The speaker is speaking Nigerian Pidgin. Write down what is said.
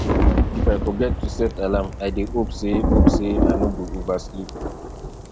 if i forget to set alarm i dey hope sey hope sey i no go oversleep